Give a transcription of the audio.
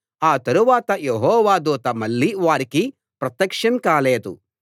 ఆ తరువాత యెహోవా దూత మళ్ళీ వారికి ప్రత్యక్షం కాలేదు